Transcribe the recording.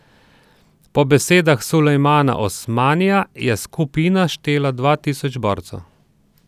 Po besedah Sulejmana Osmanija je skupina štela dva tisoč borcev.